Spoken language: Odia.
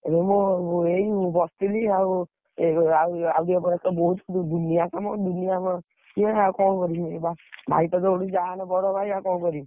ଏବେ ମୁଁ ଏଇ ବସଥିଲି ଆଉ, ଏବେ ଆଉ ଆଉ ଟିକେ ପରେ ତ ବହୁତ୍ ଦୁନିଆ କାମ ଦୁନିଆ ଆମର, ସିଏ ଆଉ କଣ କରିବି ବା ଭାଇ ତ ଯୋଉଠି ଯାହାହେଲେ ବଡ ଭାଇ ଆଉ କଣ କରିବି।